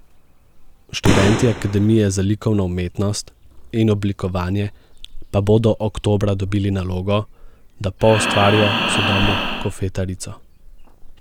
Študenti Akademije za likovno umetnost in oblikovanje pa bodo oktobra dobili nalogo, da poustvarijo sodobno kofetarico.